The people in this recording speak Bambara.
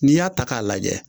N'i y'a ta k'a lajɛ